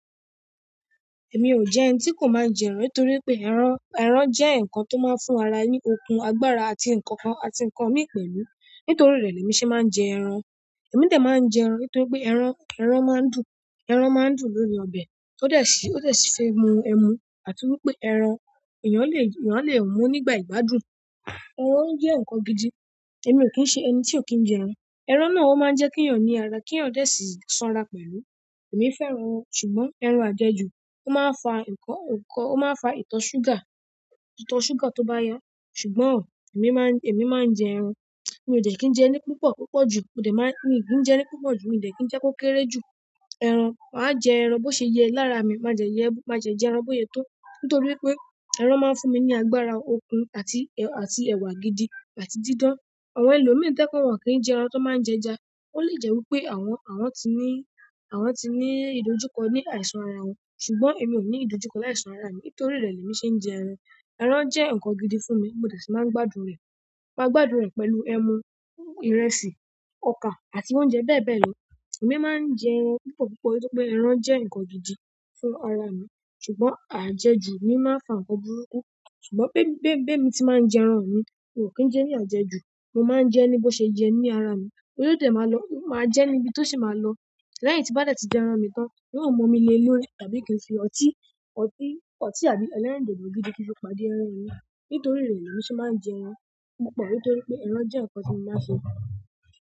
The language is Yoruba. Èmi o jé ènì tí kò máa n jé èràn nítorí pé èràn, èràn jé nkán tó máa n fún ara ní okun, agbára àti nkankan àti nkan mìí pẹ̀lú. Nítorí rẹ lèmi ṣe máa n jé èràn. Èmi de máa n jé èràn nítorí pé èràn, èràn máa n dùn, èràn máa n dùn lórí ọbẹ̀ tó dẹ sí, tó dẹ sí se mú ẹmu àti wípé èràn ènìyàn le, ènìyàn le mú nígbà ìgbàdùn. Ẹ̀ran jẹ́ ǹkan gidi. Èmi ò kí ń ṣe ẹni tí ò kí ń jẹ ẹ̀ràn. Ẹ̀ràn náà ó máa ń jẹ́ kí ènìyàn ní ara, kí ènìyàn dẹ̀ sì sanra pẹ̀lú. Èmi fẹ́ràn ẹ̀ràn, ṣùgbọ́n ẹ̀ràn àjẹjù, ó máa ń fa ǹkan, ǹkan, ó máa ń fa ìtọ̀ ṣúgà, ìtọ̀ ṣúgà tó bá yọ. Ṣùgbọ́n èmi máa ń, èmi máa ń jẹ ẹ̀ràn. Èmi ò dẹ̀ kí ń jẹ ní púpọ̀, púpọ̀ jù. Ó dẹ̀ máa ń, mi ò kí ń jẹ ní púpọ̀ jù, èmi ò dẹ̀ kí ń jẹ kó kéré jù. Ẹ̀ràn, màá jẹ ẹ̀ràn bó ṣe yẹ lára mi. Màá jẹ̀ yẹ, màá jẹ̀ jẹ ẹ̀ràn bó ṣe yẹ tó. Nítorí pé ẹ̀ràn máa ń fún mi ní agbára okun àti, àti ẹ̀wà gidi àti dídán. Àwọn ẹlòmíràn tẹ́ je pe wọ́n o kì í jẹ ẹ̀ràn tó máa ń jẹja. Ó lè jẹ́ wípé àwọn, àwọn ti ní, àwọn ti ní ìdojúkọ ní àìsàn ara wọn. Ṣùgbọ́n èmi ò ní ìdojúkọ láìsí àìsàn ara mi. Nítorí rẹ̀ lèmi ṣe ń jẹ ẹ̀ràn. Ẹ̀ràn jẹ́ ǹkan gidi fún mi, mo dẹ̀ sì máa ń gbádùn rẹ̀. Mo máa gbádùn rẹ̀ pẹ̀lú ẹmu, ìrẹsì, ọkà àti oúnjẹ bẹ́ẹ̀ bẹ́ẹ̀ lọ. Ẹ̀mí máa ń jẹ ẹ̀ràn púpọ̀ púpọ̀ nítorí pé ẹ̀ràn jẹ́ ǹkan gidi fún ara mi. Ṣùgbọ́n àjẹjù mi máa ń fa ǹkan burúkú. Ṣùgbọ́n bí, bí, bí èmi ti máa ń jẹ ẹ̀ràn mi, mi ò kí ń jẹ ní àjẹjù. Mo maa n je ni bo se ye ni ara mi o dẹ̀ máa lọ, ó máa jẹ́ níbi tó sì máa lọ. Lẹ́yìn tí bá dẹ̀ ti jẹ ẹ̀ràn mi tán, mi ò mọ mi lé lórí tàbí kí n fi ọtí, ọtí, ọtí àbí ẹlẹ́rìndòdò gidi kí n fi pàdé ẹ̀ràn mi. Nítorí rẹ̀ lèmi ṣe máa ń jẹ ẹ̀ràn púpọ̀ nítorí pé ẹ̀ràn jẹ́ ǹkan tí mo máa ń sẹ́.